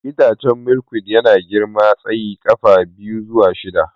Itacen Milkweed yana girma tsayin ƙafa biyu zuwa shida.